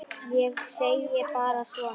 Ég segi bara svona.